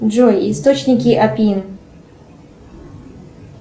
джой источники апин